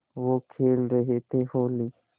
वो खेल रहे थे होली